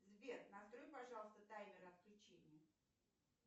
сбер настрой пожалуйста таймер отключения